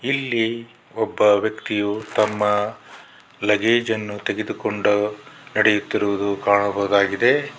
ಇಲ್ಲಿ ಒಬ್ಬ ವ್ಯಕ್ತಿಯು ತಮ್ಮ ಲಗೇಜನ್ನು ತೆಗೆದುಕೊಂಡು ನೆಡೆಯುತ್ತಿರುವುದನ್ನು ಕಾಣಬಹುದಾಗಿದೆ.